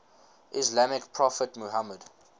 islamic prophet muhammad